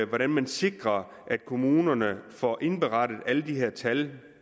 hvordan man sikrer at kommunerne får indberettet alle de her tal